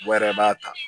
Wa yɛrɛ b'a ta